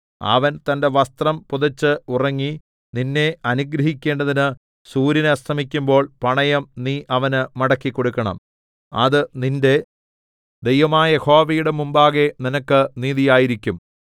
അവൻ തന്റെ വസ്ത്രം പുതച്ച് ഉറങ്ങി നിന്നെ അനുഗ്രഹിക്കേണ്ടതിന് സൂര്യൻ അസ്തമിക്കുമ്പോൾ പണയം നീ അവന് മടക്കിക്കൊടുക്കേണം അത് നിന്റെ ദൈവമായ യഹോവയുടെ മുമ്പാകെ നിനക്ക് നീതിയായിരിക്കും